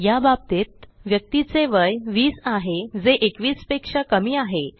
या बाबतीत व्यक्तीचे वय 20 आहे जे 21 पेक्षा कमी आहे